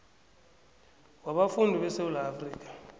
wabafundi besewula afrika